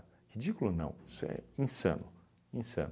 Ridículo não, isso é insano, insano.